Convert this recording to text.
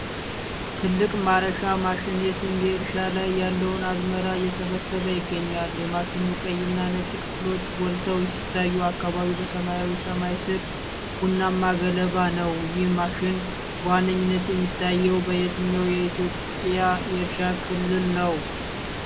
ትልቅ ማረሻ ማሽን የስንዴ እርሻ ላይ ያለውን አዝመራ እየሰበሰበ ይገኛል። የማሽኑ ቀይና ነጭ ክፍሎች ጎልተው ሲታዩ፣ አካባቢው በሰማያዊ ሰማይ ስር ቡናማ ገለባ ነው። ይህ ማሽን በዋነኝነት የሚታየው በየትኛው የኢትዮጵያ የእርሻ ክልል ነው?